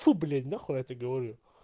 фу блять нахуй я это говорю